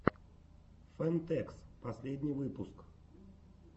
фэн тэкс последний выпуск